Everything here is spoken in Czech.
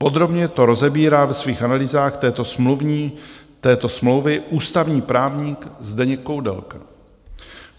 Podrobně to rozebírá ve svých analýzách této smlouvy ústavní právník Zdeněk Koudelka.